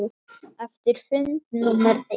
Eftir fund númer eitt.